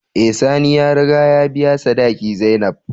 Eh sani ya riga ya biya sadaki zainab.